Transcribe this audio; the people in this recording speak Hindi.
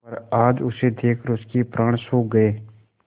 पर आज उसे देखकर उनके प्राण सूख गये